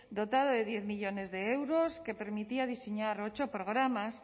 dotado de diez millónes de euros que permitía diseñar ocho programas